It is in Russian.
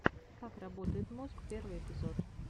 как работает мозг первый эпизод